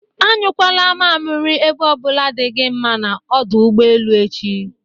A nyụkwala mamiri ebe o bụla dị gi mma na ọdụ ụgbọelu echi.